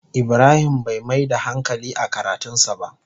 Ibrahim Bai Mai da hankali a karatun sa ba.